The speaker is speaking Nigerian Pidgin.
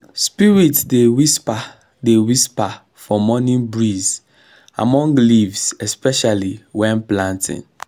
spirits dey whisper dey whisper for morning breeze among leaves especially when planting.